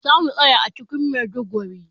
Za mu tsaya a cikin Maiduguri.